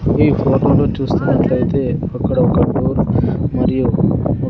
ఈ లో చూస్తున్నట్లయితే అక్కడ ఒక ఫోను మరియు--